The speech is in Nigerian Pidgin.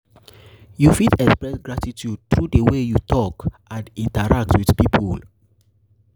you fit express gratitude through di way you talk and interact with people.